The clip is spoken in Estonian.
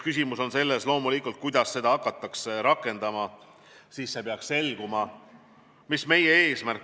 Küsimus on loomulikult selles, kuidas seda hakatakse rakendama, see peaks siis selguma.